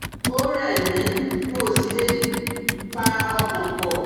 Ó rẹ̀ mí n ò sì le è pa ọkàn pọ